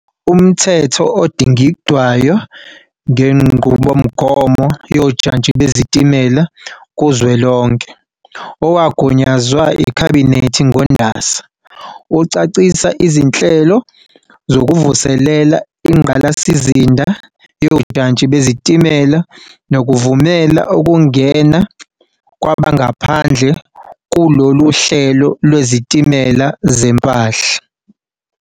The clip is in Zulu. UMthetho Odingidwayo ngeNqubomgomo Yojantshi Bezitimela Kuzwelonke, owagunyazwa yiKhabhinethi ngoNdasa, ucacisa izinhlelo zokuvuselela ingqalasizinda yojantshi bezitimela nokuvumela ukungena kwabangaphandle kulolu hlelo lwezitimela zempahla.